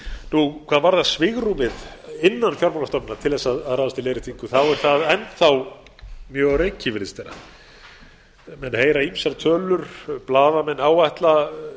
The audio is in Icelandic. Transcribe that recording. leiðréttingu hvað varðar svigrúmið innan fjármálastofnana til að ráðast í leiðréttingu þá er það enn þá mjög á reiki virðist vera menn heyra ýmsar tölur blaðamenn áætla